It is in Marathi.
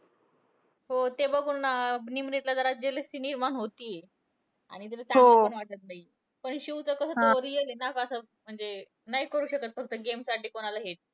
हो. ते बघून अं निमरीतला जरा jealousy निर्माण होतीय. आणि तिला चांगलं पण वाटतं नाहीये. पण शिवचं कसं तो real आहे ना ग असं. अं म्हणजे तो नाही करू शकत फक्त game साठी कोणाला hate.